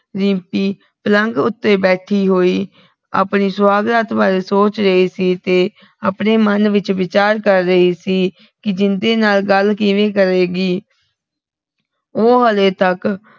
ਰਿੰਪੀ ਪਲੰਗ ਉੱਤੇ ਬੈਠੀ ਹੋਈ ਆਪਣੀ ਸੁਹਾਗਰਾਤ ਬਾਰੇ ਸੋਚ ਰਹੀ ਸੀ ਤੇ ਆਪਣੇ ਮਨ ਵਿਚ ਵਿਚਾਰ ਕਰ ਰਹੀ ਸੀ ਕਿ ਜਿੰਦੇ ਨਾਲ ਗੱਲ ਕਿਵੇ ਕਰੇਗੀ ਉਹ ਹਲੇ ਤਕ